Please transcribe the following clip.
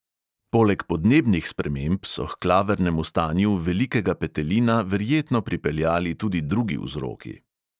Poleg podnebnih sprememb so h klavrnemu stanju velikega petelina verjetno pripeljali tudi drugi vzroki.